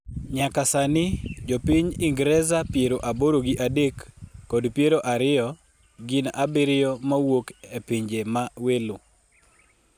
nyaka sani, jopinj Ingreza piero aboro gi adek kod piero ariyo gin abiriyo mowuok e pinje ma welo